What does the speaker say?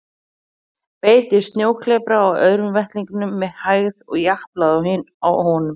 Beit í snjóklepra á öðrum vettlingnum með hægð og japlaði á honum.